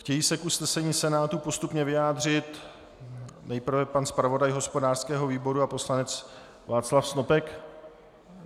Chtějí se k usnesení Senátu postupně vyjádřit nejprve pan zpravodaj hospodářského výboru a poslanec Václav Snopek?